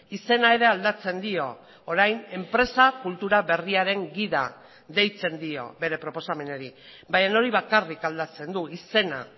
izena ere aldatzen dio orain enpresa kultura berriaren gida deitzen dio bere proposamenari baina hori bakarrik aldatzen du izena